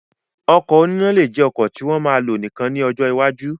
Ọkọ̀ oníná lè jẹ ọkọ̀ tí wọ́n ma lò nìkan ní ọjọ́ iwájú